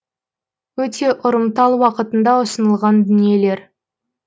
өте ұрымтал уақытында ұсынылған дүниелер